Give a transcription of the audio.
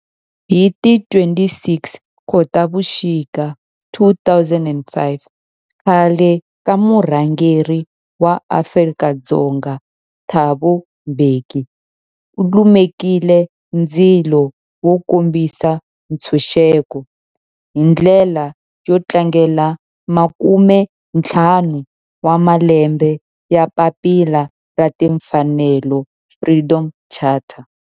Hi ti 26 Khotavuxika 2005 khale ka murhangeri wa Afrika-Dzonga Thabo Mbeki u lumekile ndzilo wo kombisa ntshuxeko, hi ndlela yo tlangela makumentlhanu wa malembe ya papila ra timfanelo, Freedom Charter.